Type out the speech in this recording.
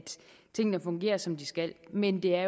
tingene fungerer som de skal men det er